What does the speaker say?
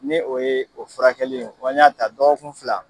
Ni o ye o furakɛli ye, ko an y'a ta dɔgɔkun fila